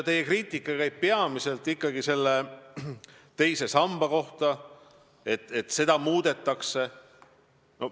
Teie kriitika käib peamiselt ikkagi selle kohta, et teise samba regulatsiooni muudetakse.